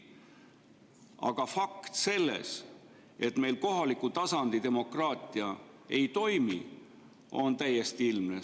Aga see, et meil kohaliku tasandi demokraatia ei toimi, on täiesti ilmne fakt.